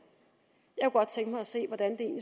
jeg kunne godt tænke mig at se hvordan det